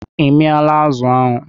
I miala azụ ahụ?